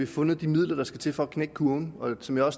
fundet de midler der skal til for at knække kurven og som jeg